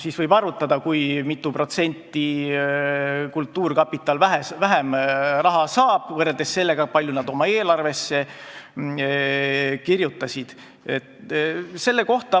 Siit võib arvutada, kui mitu protsenti kultuurkapital saab vähem raha võrreldes sellega, kui palju nad oma eelarvesse kirjutasid.